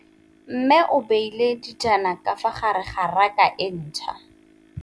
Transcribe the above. Mmê o beile dijana ka fa gare ga raka e ntšha.